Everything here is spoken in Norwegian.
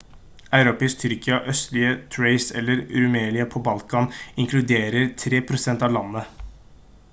europeisk tyrkia østlige thrace eller rumelia på balkan inkluderer 3 prosent av landet